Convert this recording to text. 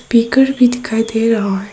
पीकर भी दिखाई दे रहा है।